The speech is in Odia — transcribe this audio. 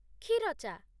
କ୍ଷୀର ଚା' ।